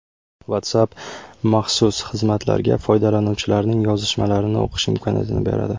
WhatsApp maxsus xizmatlarga foydalanuvchilarning yozishmalarini o‘qish imkoniyatini beradi.